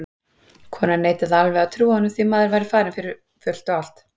Konan neitaði alveg að trúa því að maðurinn væri farinn fyrir fullt og allt.